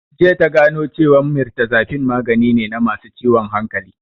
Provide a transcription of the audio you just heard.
Jiya ta gano cewan mirtazapine magani ne na masu ciwon hankali